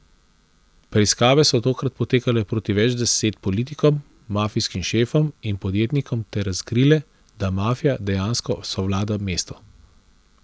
Preiskave so takrat potekale proti več deset politikom, mafijskim šefom in podjetnikom ter razkrile, da mafija dejansko sovlada mestu.